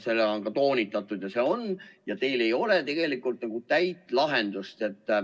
Seda on ka toonitatud, et teil ei ole tegelikult nagu täit lahendust.